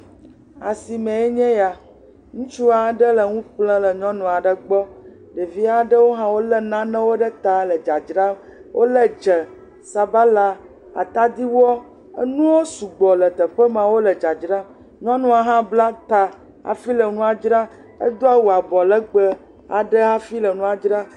Esime ye nye ya. Ŋutsu aɖe le nu ƒlem le nyɔnu aɖe gbɔ. Ɖevi aɖewo le nane ɖe ta hele dzadzra. Wòle dze, sabala, atidiwɔ. Enuwo sugbɔ le teƒe maa wole dzadzam. Nyɔnua hã bla ta hafi le nua dzram. Edo awu anɔ legbe aɖe hafi le nua dzram.